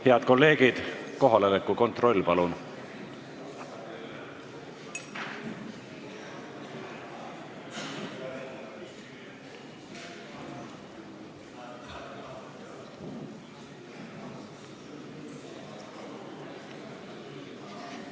Head kolleegid, kohaloleku kontroll, palun!